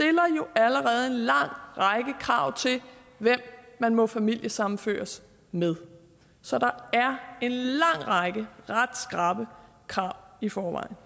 jo allerede en lang række krav til hvem man må familiesammenføres med så der er en lang række ret skrappe krav i forvejen